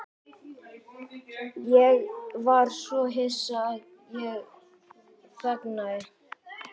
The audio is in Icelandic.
Ég var svo hissa að ég þagnaði.